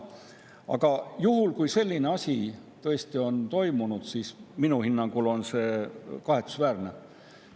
Aga kui selline asi tõesti on toimunud, siis minu hinnangul on see kahetsusväärne.